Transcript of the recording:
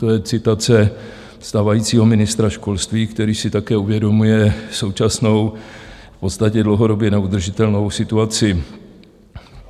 To je citace stávajícího ministra školství, který si také uvědomuje současnou, v podstatě dlouhodobě neudržitelnou situaci.